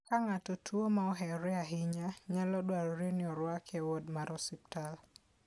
Ka ng'ato tuwo ma ohewore ahinya, nyalo dwarore ni orwake e wod mar osiptal.